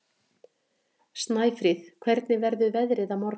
Snæfríð, hvernig verður veðrið á morgun?